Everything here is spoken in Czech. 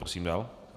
Prosím dál.